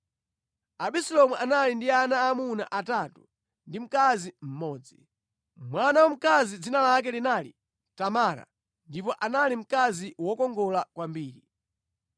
Abisalomu anali ndi ana aamuna atatu ndi wamkazi mmodzi. Mwana wamkazi dzina lake linali Tamara, ndipo anali mkazi wokongola kwambiri.